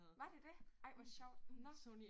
Var det det? Ej hvor sjovt nåh